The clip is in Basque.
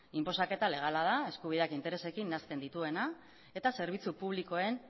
inposaketa legala da eskubideak interesekin nahasten dituena eta zerbitzu publikoen